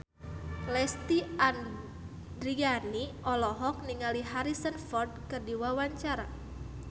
Lesti Andryani olohok ningali Harrison Ford keur diwawancara